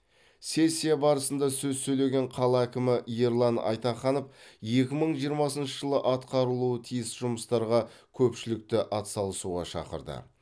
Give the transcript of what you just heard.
сессия барысында сөз сөйлеген қала әкімі ерлан айтаханов екі мың жиырмасыншы жылы атқарылуы тиіс жұмыстарға көпшілікті атсалысуға шақырды